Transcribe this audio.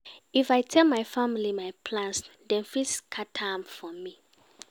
If I tell my family my plans, dem fit scatter am for me.